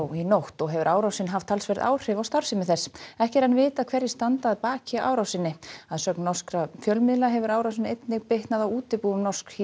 í nótt og hefur árásin haft talsverð áhrif á starfsemi þess ekki er enn vitað hverjir standa að baki árásinni að sögn norskra fjölmiðla hefur árásin einnig bitnað á útibúum Norsk